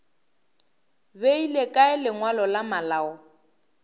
beile kae lengwalo la malao